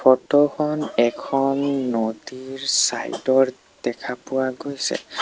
Photo খন এখন নদীৰ চাইড ৰ দেখা পোৱা গৈছে।